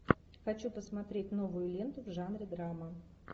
хочу посмотреть новую ленту в жанре драма